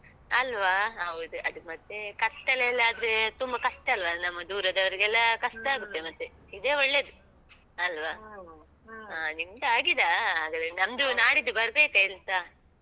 ಅಲ್ವಾ? ಹೌದು. ಅದು ಮತ್ತೇ ಕತ್ತಲೆಯೆಲ್ಲ ಆದ್ರೆ ತುಂಬ ಕಷ್ಟ ಅಲ್ವ ನಮ್ಮ ದೂರದವರಿಗೆಲ್ಲ ಕಷ್ಟ ಆಗುತ್ತೆ ಮತ್ತೆ.ಇದೇ ಒಳ್ಳೇದು, ಅಲ್ವಾ? ಹಾ. ನಿಮ್ದಾಗಿದಾ? ಹಾಗಾದ್ರೆ ನಂದು ನಾಡಿದ್ದು ಬರ್ಬೇಕಾ ಎಂತ?